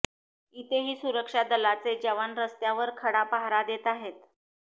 इथेही सुरक्षा दलांचे जवान रस्त्यावर खडा पहारा देत आहेत